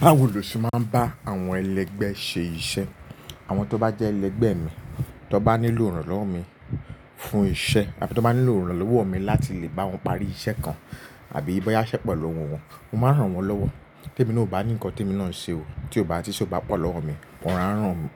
Báwo lo ṣe máa ń bá àwọn ẹlẹgbẹ́ ṣe iṣẹ́? Àwọn tó bá jẹ́ ẹlẹgbẹ́ mi, tó bá nílò ìrànlọ́wọ́ mi fún iṣẹ́ àbí tó bá nílò ìrànlọ́wọ́ mi láti lè bá wọn parí iṣẹ́ kan àbí bóyá iṣẹ́ po lowo wọn, mo máa ràn wọ́n lọ́wọ́. Tí èmi na ò bá ní nǹkan tí èmi na ń ṣe o, tí ó bá tí ise ó bá pọ̀ lọ́wọ́ mi, mo